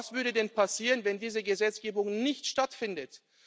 Was würde denn passieren, wenn diese Gesetzgebung nicht stattfindet?